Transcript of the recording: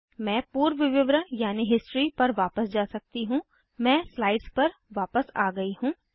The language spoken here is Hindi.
मैं पूर्व विवरण यानि हिस्ट्री पर वापस जा सकती हूँ मैं स्लाइड्स पर वापस आ गयी हूँ